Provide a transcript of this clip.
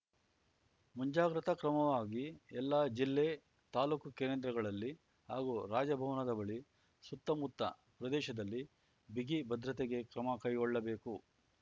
ಮುಂಜಾಗ್ರತಾ ಕ್ರಮವಾಗಿ ಎಲ್ಲಾ ಜಿಲ್ಲೆ ತಾಲೂಕು ಕೇಂದ್ರಗಳಲ್ಲಿ ಹಾಗೂ ರಾಜಭವನದ ಬಳಿ ಸುತ್ತಮುತ್ತ ಪ್ರದೇಶದಲ್ಲಿ ಬಿಗಿ ಭದ್ರತೆಗೆ ಕ್ರಮ ಕೈಗೊಳ್ಳಬೇಕು